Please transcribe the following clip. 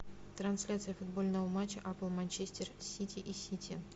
трансляция футбольного матча апл манчестер сити и сити